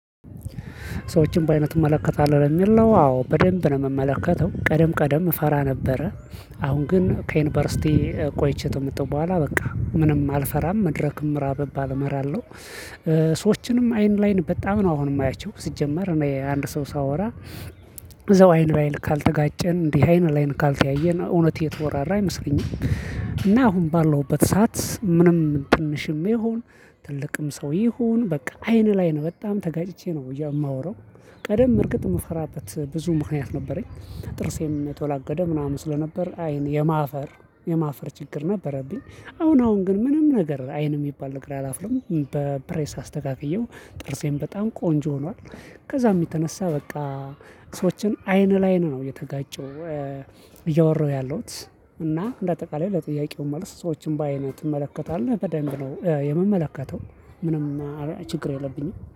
ሰዎችን በአይን ትመለከታለህ ነው የሚል ነው አዎ በደንብ ነው የምመለከተው ቀደም ቀደም ፈራ ነበረ። አሁን ግን ከዩኒቨርሲቲ ቆይቼ ተመጣሁ በኋላ በቃ ምንም አልፈራም መድረክም ምራ ብባል እመራለሁ። ሰዎችንም አይን ላይን በጣም ነው አሁን የማያቸው ስጀምር እኔ አንድ ሰው ሳወራ እዘው አይን ባይን ካልተጋጨን እንዲህ አይን ላይን ካልተያየን እውነት የተወራራ አይመስለኝም። እና አሁን ባለውበት ሰዓት ምንም ትንሽም ይሁን ትልቅም ሰው ይሁን በቃ አይን ላይ ነው በጣም ተጋጭቼ ነው የማወራው። ቀደም እርግጥ መፈራት ብዙ ምክንያት ነበረኝ። ጥርሴም ተወላገደ ምናምን ስለነበር አይን የማፈር የማፈር ችግር ነበረብኝ። አሁን አሁን ግን ምንም ነገር አይን የሚባል ነገር ያላፍለሙ በፕሬስ አስተጋግዬው ጥርሴም በጣም ቆንጆ ሆኗል። ከዛ የሚተነሳ በቃ ሰዎችን አይን ለአይን ነው የተጋጨው እያወራሁ ያለሁት። እና እንደ አጠቃላይ ለጥያቄው መልስ ሰዎችን በአይነ ትመለከታለህ በደንብ ነው የምመለከተው። ምንም ችግር የለብኝም